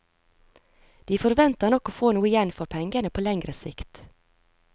De forventer nok å få noe igjen for pengene på lengre sikt.